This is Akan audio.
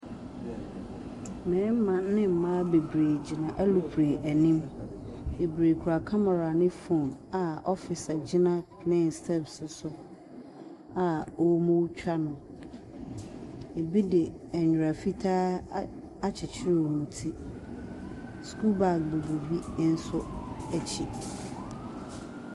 Mmarima ne mmaa bebree gyina alupere anim. Bebree kura kamera ne phone a officer gyina plan no steps so a wɔretwa no. Ebi de nwera fitaa a akyekyere wɔn ti. Sukuu bag bobɔ bi nso akyi.